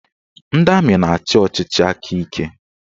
Ndị amị na-achị ọchịchị aka ike